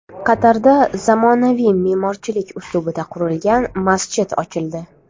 Qatarda zamonaviy me’morchilik uslubida qurilgan masjid ochildi .